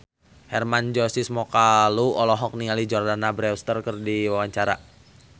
Hermann Josis Mokalu olohok ningali Jordana Brewster keur diwawancara